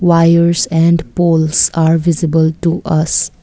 wires and poles are visible to us.